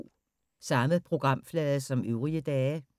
Samme programflade som øvrige dage